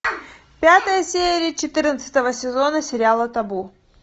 пятая серия четырнадцатого сезона сериала табу